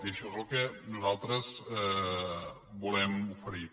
i això és el que nosaltres volem oferir